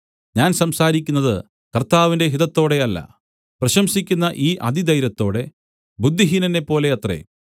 ഞാൻ സംസാരിക്കുന്നത് കർത്താവിന്റെ ഹിതത്തോടെ അല്ല പ്രശംസിക്കുന്ന ഈ അതിധൈര്യത്തോടെ ബുദ്ധിഹീനനെപ്പോലെ അത്രേ